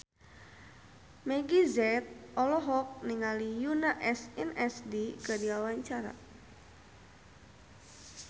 Meggie Z olohok ningali Yoona SNSD keur diwawancara